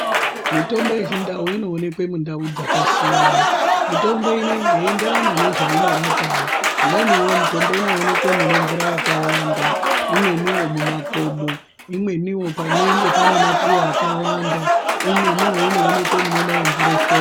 Mitombo yechindau inooneka mundau dzakasiyana. Mitombo inenge yeienderana nezvainorapawo. Imweni wo mitombo inoonekwe mune mvura yakawanda. Imweni wo mumakomo. Imweni panenge pane mapuwe akawanda. Imweni wo inooneka munonaya mvura shoma.